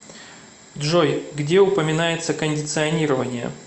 джой где упоминается кондиционирование